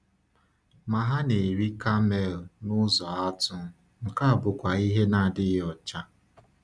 Ma ha na-eri kamel n’ụzọ atụ, nke bụkwa ihe na-adịghị ọcha.